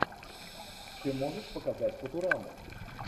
ты можешь показать футураму